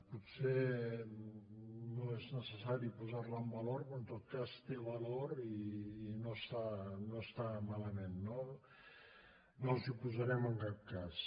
potser no és necessari posar la en valor però en tot cas té valor i no està malament no no ens hi oposarem en cap cas